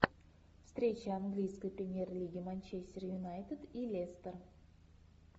встреча английской премьер лиги манчестер юнайтед и лестер